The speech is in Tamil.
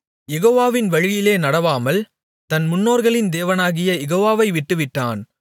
யெகோவாவின் வழியிலே நடவாமல் தன் முன்னோர்களின் தேவனாகிய யெகோவாவை விட்டுவிட்டான்